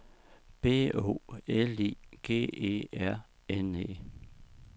B O L I G E R N E